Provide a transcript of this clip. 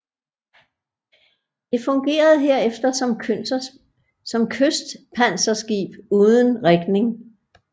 Det fungerede herefter som kystpanserskib uden rigning